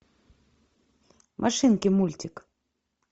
машинки мультик